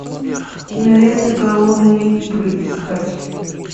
кинолента голодные игры искать